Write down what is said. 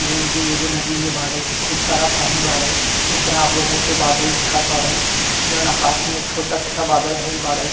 John की एगो नदी में बाड़े खूब सारा पानी बाड़े उपरा आप लोगन के बादल दिखत बाड़े जॉन आकाश में छोटा -छोटा बादल भइल बाड़े।